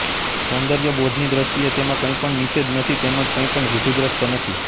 સૌંદર્યબોધની દૃષ્ટિએ તેમાં કંઈ પણ નિષેધ નથી તેમ જ કંઈ પણ રૂઢિગ્રસ્ત નથી